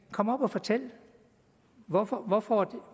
komme op og fortælle hvorfor hvorfor